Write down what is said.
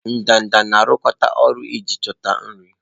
Ndanda na-arụkọ ọrụ iji chọta nri.